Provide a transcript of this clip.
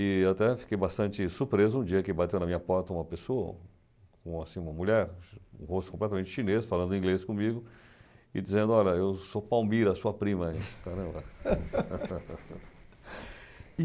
E até fiquei bastante surpreso um dia que bateu na minha porta uma pessoa, um assim, uma mulher, o rosto completamente chinês, falando inglês comigo e dizendo, olha, eu sou Palmira, sua prima.